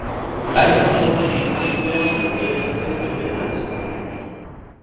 Sævar tók því líklega og lét Kristján vita af þessu.